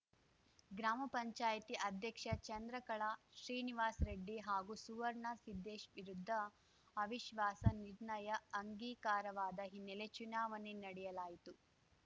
ಗ್ರಾಮ ಪಂಚಾಯಿತಿ ಅಧ್ಯಕ್ಷೆ ಚಂದ್ರಕಳಾ ಶ್ರೀನಿವಾಸ್ ರೆಡ್ಡಿ ಹಾಗೂ ಸುವರ್ಣ ಸಿದ್ಧೇಶ್ ವಿರುದ್ಧ ಅವಿಶ್ವಾಸ ನಿರ್ಣಯ ಅಂಗೀಕರವಾದ ಹಿನ್ನೆಲೆ ಚುನಾವಣೆ ನಡೆಸಲಾಯಿತು